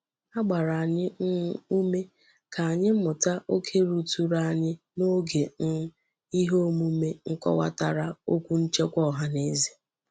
A gbara anyi um ume ka anyi muta oke ruturu anyi n'oge um ihe omume nkowatara okwu nchekwa ohaneze.